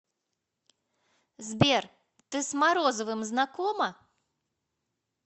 сбер ты с морозовым знакома